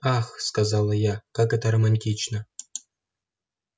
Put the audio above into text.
ах сказала я как это романтично